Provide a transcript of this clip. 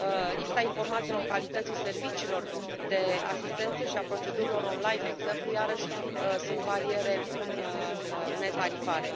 Lipsa informațiilor calității serviciilor de asistență și a procedurilor online, de exemplu, iarăși sunt bariere netarifare.